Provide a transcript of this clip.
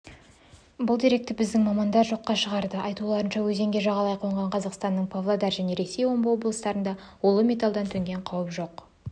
бұл деректі біздің мамандар жоққа шығарды айтуларынша өзенге жағалай қонған қазақстанның павлодар және ресейдің омбы облыстарына улы металдан төнген қауіп жоқ